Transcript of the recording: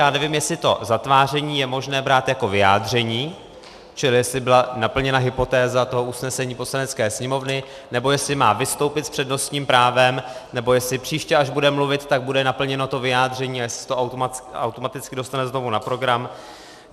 Já nevím, jestli to zatváření je možné brát jako vyjádření, čili jestli byla naplněna hypotéza toho usnesení Poslanecké sněmovny, nebo jestli má vystoupit s přednostním právem, nebo jestli příště, až bude mluvit, tak bude naplněno to vyjádření, jestli se to automaticky dostane znovu na program.